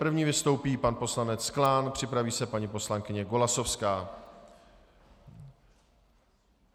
První vystoupí pan poslanec Klán, připraví se paní poslankyně Golasowská.